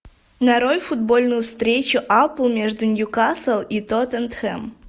нарой футбольную встречу апл между ньюкасл и тоттенхэм